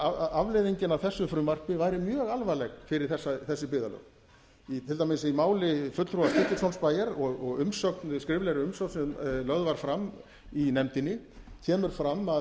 að afleiðingin af þessu frumvarpi væri mjög alvarleg fyrir þessi byggðarlög til dæmis í máli fulltrúa stykkishólmsbæjar og skriflegri umsögn sem lögð var fram í nefndinni kemur fram að